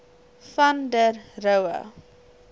van der rohe